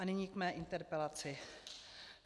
A nyní k mé interpelaci.